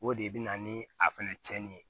O de bɛ na ni a fɛnɛ cɛnni ye